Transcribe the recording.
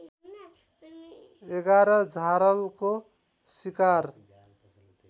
११ झारलको सिकार